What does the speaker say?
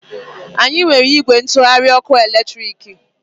Anyị nwere ìgwè ntụgharị ọkụ eletriki.